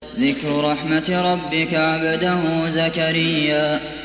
ذِكْرُ رَحْمَتِ رَبِّكَ عَبْدَهُ زَكَرِيَّا